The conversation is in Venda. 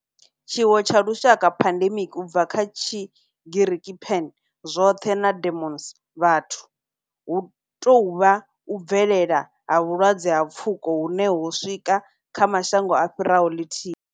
Tshiwo tsha lushaka pandemic, u bva kha Tshigiriki pan, zwothe na demos, vhathu, hu tou vha u bvelela ha vhulwadze ha pfuko hune ho swika kha mashango a fhiraho lithihi.